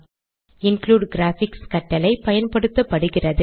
include graphics கட்டளை பயன்படுத்தப்படுகிறது